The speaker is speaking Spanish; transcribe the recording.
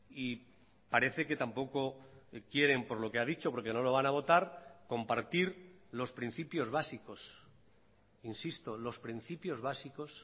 y parece que tampoco quieren por lo que ha dicho porque no lo van a votar compartir los principios básicos insisto los principios básicos